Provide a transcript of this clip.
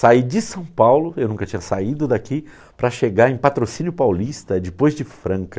Saí de São Paulo, eu nunca tinha saído daqui, para chegar em Patrocínio Paulista, depois de Franca.